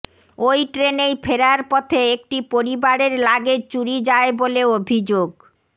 ওই ট্রেনেই ফেরার পথে একটি পরিবারের লাগেজ চুরি যায় বলে অভিযোগ